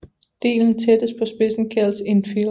Delen tættest på spidsen kaldes infield